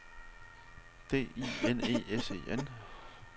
D I N E S E N